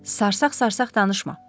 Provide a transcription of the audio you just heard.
Sarsaq-sarsaq danışma.